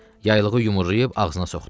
Yaylığı yumrulayıb ağzına soxdu.